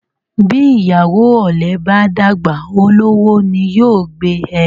Bí ìyàwó ọ̀lẹ́ bá dàgbà, olówó ni yó gbé e.